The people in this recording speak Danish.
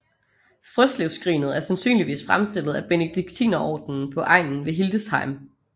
Frøslevskrinet er sandsynligvis fremstillet af Benediktinerordenen på egnen ved Hildesheim